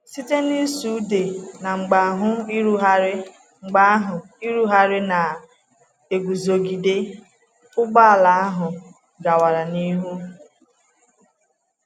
Site n’ịsụ ude na mgbe ahụ ịrụgharị mgbe ahụ ịrụgharị na-eguzogide, ụgbọ ala ahụ gawara n’ihu.